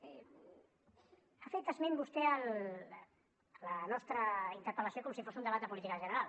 ha fet esment vostè a la nostra interpel·lació com si fos un debat de política general